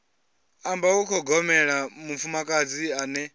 amba u ṱhogomela mufumakadzi ane